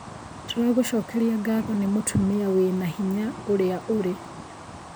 Tũragũcokeria ngatho nĩ mũtumia wĩna hinya ũrĩa ũrĩ